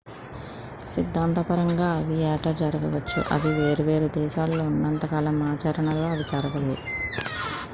సిద్ధాంతపరంగా అవి ఏటా జరగవచ్చు అవి వేర్వేరు దేశాలలో ఉన్నంత కాలం ఆచరణలో అవి జరగవు